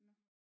Nåh